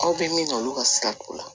Aw bɛ min na olu ka sira t'o la